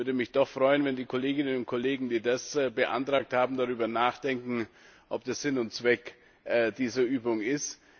Ich würde mich freuen, wenn die Kolleginnen und Kollegen, die das beantragt haben, darüber nachdenken, ob das Sinn und Zweck dieser Übung ist.